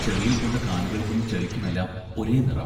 ചെളിയിൽ പൂണ്ട കാലുകൾക്കും ചെളിക്കുമെല്ലാം ഒരേ നിറം!